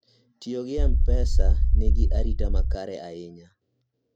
tiyo gi mpesa nigi arita makare ahinya